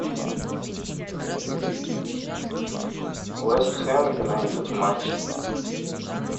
вестхэм юнайтед матч